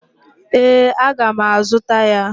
Ee, aga m azuta ya.